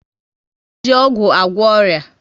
E ji ọgwụ agwọ ọrịa